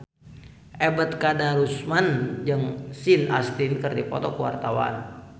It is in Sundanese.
Ebet Kadarusman jeung Sean Astin keur dipoto ku wartawan